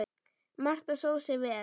Marta stóð sig vel.